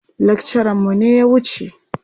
Lakcaranmu ne ya wuce.